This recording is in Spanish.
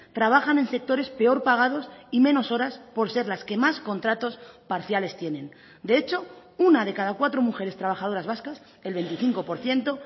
trabajan en sectores peor pagados y menos horas por ser las que más contratos parciales tienen de hecho una de cada cuatro mujeres trabajadoras vascas el veinticinco por ciento